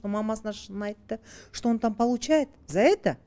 мамасына шынын айтты что он там получает за это